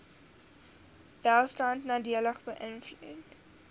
welstand nadelig beïnvloed